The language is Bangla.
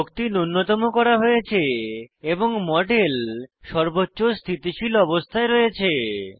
শক্তি নুন্যতম করা হয়েছে এবং মডেল সর্বোচ্চ স্থিতিশীল অবস্থায় রয়েছে